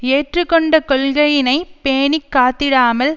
ஏற்றுக்கொண்ட கொள்கையினை பேணி காத்திடாமல்